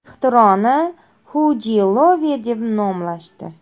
Ixtironi HUGlove deb nomlashdi.